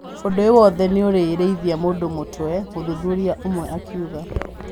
Ũndũ ũyũ wothe nĩũrarĩithia mũndũ mũtwe, mũthuthuria ũmwe akiuga